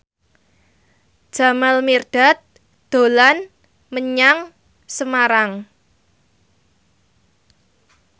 Jamal Mirdad dolan menyang Semarang